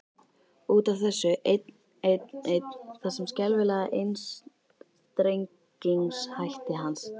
Út af þessu einn, einn, einn, þessum skelfilega einstrengingshætti hans.